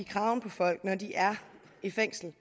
kraven i folk når de er i fængslet